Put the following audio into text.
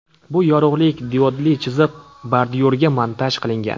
Bu yorug‘lik diodli chiziq bordyurga montaj qilingan.